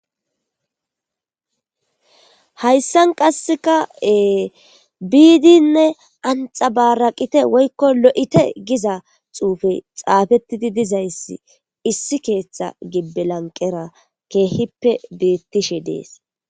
Hayisan qaseka bidinee axabaraqite woyiko lo'ite giza xupeyi xapetidi dizays issi kethan timirite ketha laniqera betishe de'es